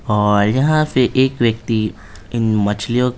और यहां पे एक व्यक्ति इन मछलियों को---